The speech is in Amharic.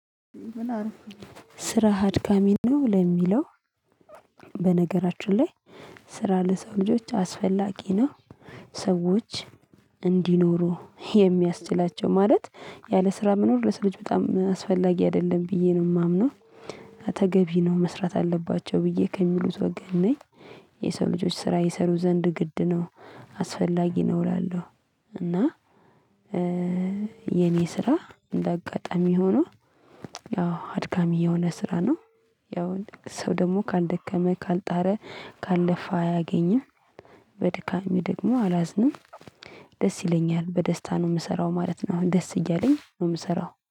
ስራ አድካሚ ነው ለሚለው። በነገራችን ላይ ስራ ለሰው ልጆች አስፈላጊ ነው። ሰዎች እንዲኖሩ የሚያስችላቸው ማለት ያለ ስራ መኖር ለስራ ልጅ በጣም አስፈላጊ አይደለም ብዬ ነው ማምነው። ተገቢ ነው መስራት አለባቸው ብዬ ከሚሉት ወገን ነኝ። የሰው ልጆች ስራ ይሰሩ ዘንድ ግድ ነው አስፈላጊ ነው እላለሁ። እና የኔ ስራ እንደ አጋጣሚ ሆኖ ያው አድካሚ የሆነ ስራ ነው። ያው ሰው ደግሞ ካልደከመ ካልጣረ ካለፋ አያገኝም። በድካሜ ደግሞ አላዝንም። ደስ ይለኛል በደስታ ነው ምሰራው ማለት ነው። ደስ እያለኝ ነው ምሰራው